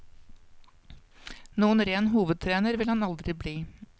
Noen ren hovedtrener vil han aldri bli.